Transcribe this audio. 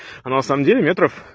а на самом деле метров